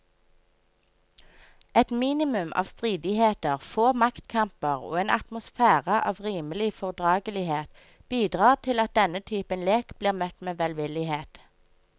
Et minimum av stridigheter, få maktkamper og en atmosfære av rimelig fordragelighet bidrar til at denne type lek blir møtt med velvillighet.